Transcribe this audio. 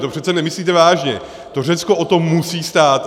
To přece nemyslíte vážně, to Řecko o to musí stát.